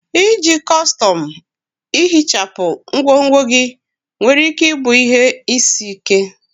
Iji kọstọm ihichapụ ngwongwo gị nwere ike ịbụ ihe isi ike.